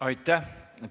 Aitäh!